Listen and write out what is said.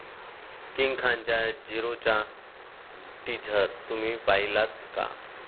King खानच्या 'झीरो'चा teaser तुम्ही पाहिलात का?